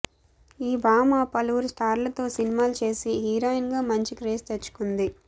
ఈ భామ పలువురు స్టార్లతో సినిమాలు చేసి హీరోయిన్గా మంచి క్రేజ్ తెచ్చుకుంది